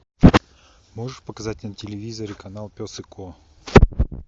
можешь показать на телевизоре канал пес и ко